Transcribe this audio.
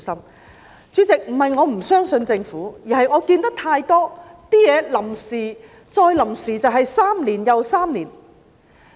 代理主席，不是我不相信政府，而是我看見太多東西是臨時3年又3年。